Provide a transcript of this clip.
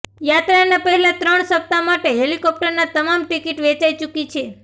યાત્રાના પહેલા ત્રણ સપ્તાહ માટે હેલિકોપ્ટરના તમામ ટિકિટ વેચાઇ ચુક્ી છે